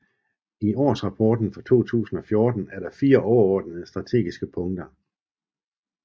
I årsrapporten for 2014 er der 4 overordnede strategiske punkter